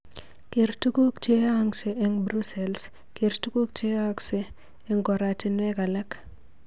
Ger tuguk cheyaakse eng Brussels, ger tuguuk cheyaakse eng koratinweg alak